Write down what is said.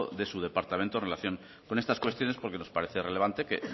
de su departamento en relación con estas cuestiones porque nos parece relevante que